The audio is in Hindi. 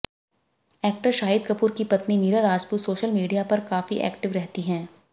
एक्टर शाहिद कपूर की पत्नी मीरा राजपूत सोशल मीडिया पर काफी एक्टिव रहती रहती है